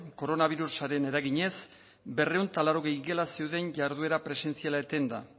koronabirusaren eraginez berrehun eta laurogei gela zeuden jarduera presentziala etenda